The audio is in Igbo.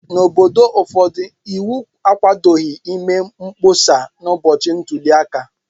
N'obodo ụfọdụ, iwu akwadoghị ịme mkpọsa n'ụbọchị ntuli aka.